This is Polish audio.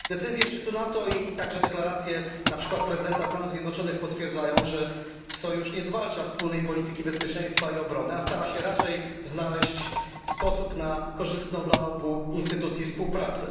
Decyzje szczytu NATO i także deklaracje np. prezydenta Stanów Zjednoczonych potwierdzają, że sojusz nie zwalcza wspólnej polityki bezpieczeństwa i obrony, a stara się raczej znaleźć sposób na korzystną dla obu instytucji współpracę.